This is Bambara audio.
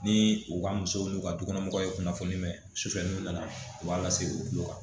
Ni u ka musow n'u ka dukɔnɔmɔgɔw ye kunnafoni mɛ sufɛ n'u nana u b'a lase u bolo kan